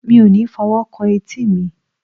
mi o mi fọ owo kan eti mi